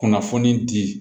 Kunnafoni di